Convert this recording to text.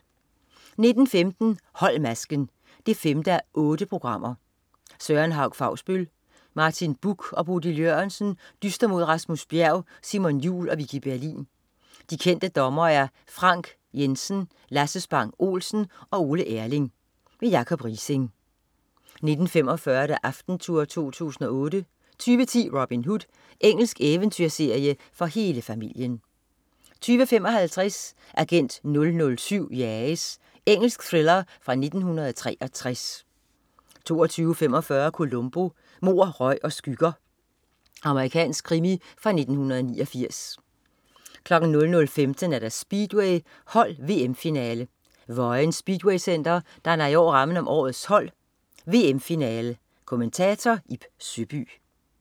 19.15 Hold masken 5:8. Søren Hauch Fausbøll, Martin Buch og Bodil Jørgensen dyster mod Rasmus Bjerg, Simon Jul og Vicki Berlin. De kendte dommere er Frank Jensen, Lasse Spang Olsen og Ole Erling. Jacob Riising 19.45 Aftentour 2008 20.10 Robin Hood. Engelsk eventyrserie for hele familien 20.55 Agent 007 jages. Engelsk thriller fra 1963 22.45 Columbo: Mord, røg og skygger. Amerikansk krimi fra 1989 00.15 Speedway: Hold VM finale. Vojens Speedwaycenter, danner i år rammen om årets hold VM finale. Kommentator: Ib Søby